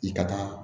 I ka taa